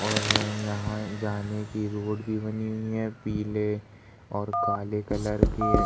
और यहाँ जाने की रोड भी बनी हुई है। पीले और काले कलर के --